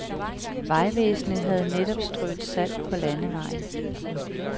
Vejvæsenet havde netop strøet salt på landevejen.